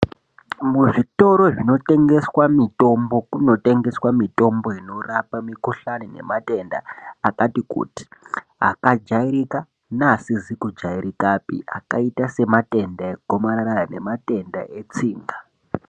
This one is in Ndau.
Muzvitoro zvinotengeswa mitombo kunotengeswa mitombo inorapa mikuhlani nematenda akajairika neasizi kujairika akaita sematenda regomarara nematenda etsinga.